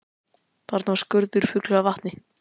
Þarna var skurður fullur af vatni.